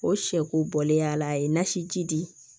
O sɛ ko bɔlen yala a ye nasi ji di